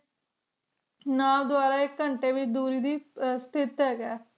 ਘੰਟੀ ਵੇਚ ਦੂਰੀ ਦੇ ਸਟੇਟ ਹੀ ਗਾ